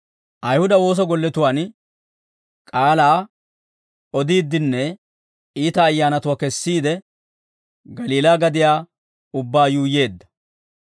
Ayihuda woosa golletuwaan k'aalaa odiiddinne iita ayyaanatuwaa kesiide, Galiilaa gadiyaa ubbaa yuuyyeedda.